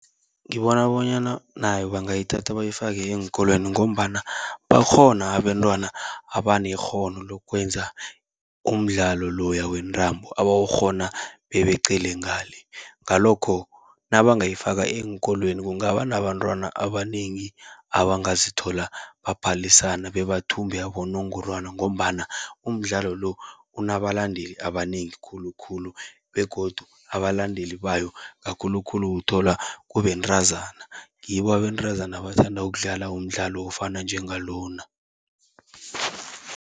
Ngibona bonyana nayo bangayithatha bayifake eenkolweni, ngombana bakhona abentwana abanekghono lokwenza umdlalo loya wentambo, abawukghona bebeqele ngale. Ngalokho nabangayifaka eenkolweni kungaba nabantwana abanengi, abangazithola baphalisana bebathumbe abonongorwana. Ngombana umdlalo lo unabalandeli abanengi khulukhulu begodu abalandeli bayo, kakhulukhulu uthola kubentazana, ngibo abentazana abathanda ukudlala umdlalo ofana njengalona.